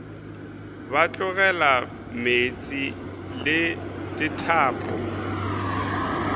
ba tlogela meetse le dithapo